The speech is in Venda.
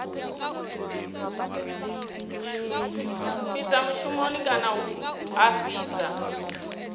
fhidza mushumoni kana a fhidza